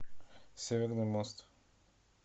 северный мост